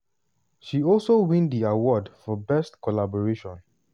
she also win di award for best collaboration.